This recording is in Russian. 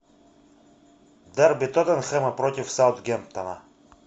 дерби тоттенхэма против саутгемптона